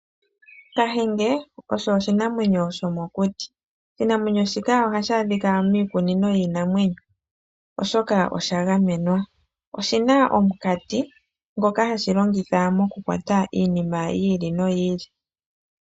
Kahenge osho oshinamwenyo shomokuti. Oshinamwenyo shika ohashi adhika miikunino yiinamwenyo, oshoka osha gamenwa. Oshi na omunkati ngoka hashi longitha mokukwata iinima yi ili noyi ili.